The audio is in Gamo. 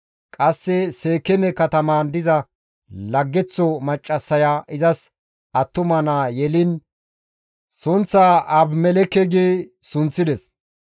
Qasse Seekeeme katamaan diza laggeththo maccassaya izas attuma naa yeliin sunththaa Abimelekke gi sunththides.